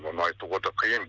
оны айтуға да қиын